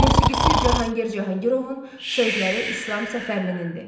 Musiqisi Cahangir Cahangirovun, sözləri İslam Səfərlinindir.